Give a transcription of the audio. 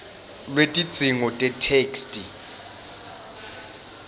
lwetidzingo tetheksthi